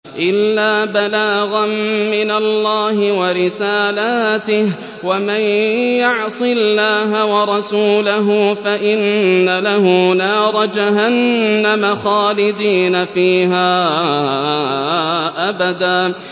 إِلَّا بَلَاغًا مِّنَ اللَّهِ وَرِسَالَاتِهِ ۚ وَمَن يَعْصِ اللَّهَ وَرَسُولَهُ فَإِنَّ لَهُ نَارَ جَهَنَّمَ خَالِدِينَ فِيهَا أَبَدًا